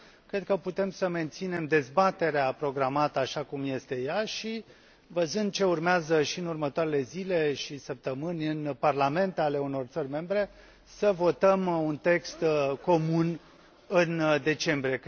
Cred că putem să menținem dezbaterea programată așa cum este ea și, văzând ce urmează și în următoarele zile și săptămâni în parlamentele unor țări membre, să votăm un text comun în decembrie.